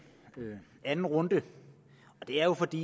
anden runde det er jo fordi